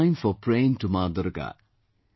It is a time for praying to Ma Durga